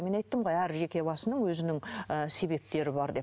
мен айттым ғой әр жеке басының өзінің ы себептері бар деп